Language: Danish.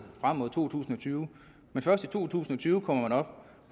frem mod to tusind og tyve men først i to tusind og tyve kommer man op